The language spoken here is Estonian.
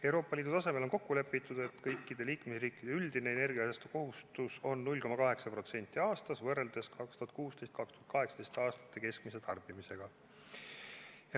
Euroopa Liidu tasemel on kokku lepitud, et kõikide liikmesriikide üldine energiasäästukohustus on 0,8% aastas võrreldes aastate 2016–2018 keskmise tarbimisega.